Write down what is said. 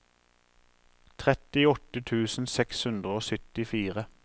trettiåtte tusen seks hundre og syttifire